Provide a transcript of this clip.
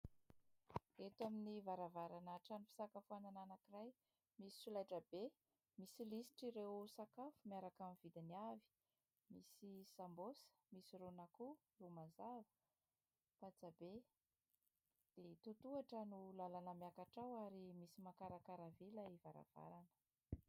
Eto amin'ny varavarana trano fisakafoanana anankiray misy solaitrabe. Misy lisitra ireo sakafo miaraka amin'ny vidiny avy ; misy sambôsa, misy ron'akoho, ro mazava, patsabe. Totohatra ny miakatra ary misy makarakara vy ilay varavarana.